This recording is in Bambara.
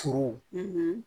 Furu